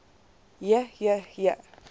j j j